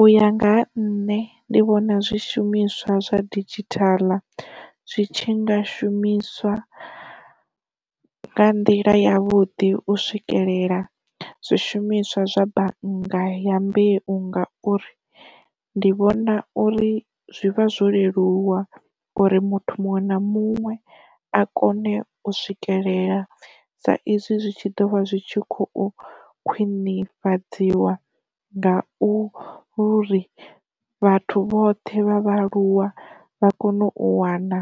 U ya nga ha nṋe ndi vhona zwi shumiswa zwa didzhithala zwitshi nga shumiswa nga nḓila ya vhuḓi u swikelela zwi shumiswa zwa bannga ya mbeu ngauri, ndi vhona uri zwi vha zwo leluwa uri muthu muṅwe na muṅwe a kone u swikelela sa izwi zwi tshi ḓo vha zwi tshi khou khwinifhadziwa ngau uri, vhathu vhoṱhe vha vhaaluwa vha kone u wana